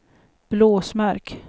Blåsmark